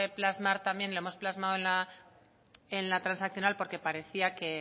plasmar también y lo hemos plasmado en la transaccional porque parecía que